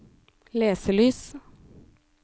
leselys